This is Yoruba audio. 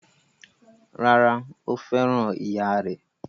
Rárá, Ó fẹ́ràn ìyáà rẹ̀?